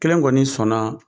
Kelen kɔni sɔn na.